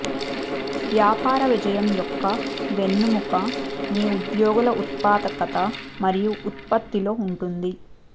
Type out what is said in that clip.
వ్యాపార విజయం యొక్క వెన్నెముక మీ ఉద్యోగుల ఉత్పాదకత మరియు ఉత్పత్తిలో ఉంటుంది